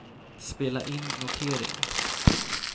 spela in notering